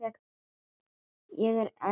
Ég er einn af þremur bræðrum.